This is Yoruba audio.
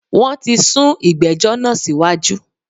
Wọn tí sún ìgbẹ́jọ́ náà síwájú